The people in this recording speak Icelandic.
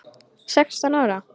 Sextán ára?